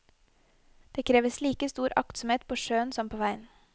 Det kreves like stor aktsomhet på sjøen som på veien.